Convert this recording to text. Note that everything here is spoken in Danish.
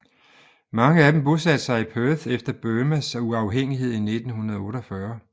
Mange af dem bosatte sig i Perth efter Burmas uafhængighed i 1948